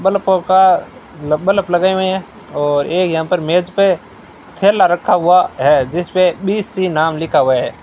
का बल्ब लगे हुए हैं और एक यहां पर मेज पे थैला रखा हुआ है जिस पे बी_सी नाम लिखा हुआ है।